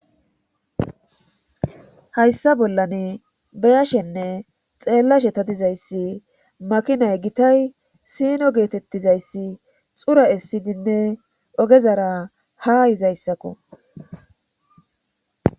Hayssa bollan beyashenne xeellashe ta dizayssi makinay gitay sino geetettizayssi xura essidinne ogezara ha izayssakko